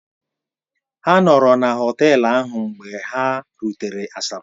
Ha nọọrọ na họtel ahụ mgbe ha rutere Asaba.